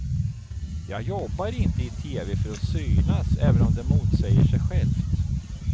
Jag jobbar inte i tv för att synas, även om det motsäger sig själv.